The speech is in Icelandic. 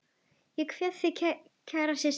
Ég kveð þig kæra systir.